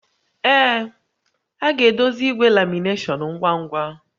Ee, a ga-edozi igwe lamination ngwa ngwa